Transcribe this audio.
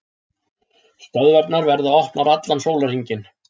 Stöðvarnar verða opnar allan sólarhringinn